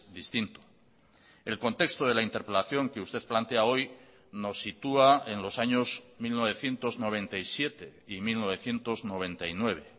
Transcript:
distinto el contexto de la interpelación que usted plantea hoy nos sitúa en los años mil novecientos noventa y siete y mil novecientos noventa y nueve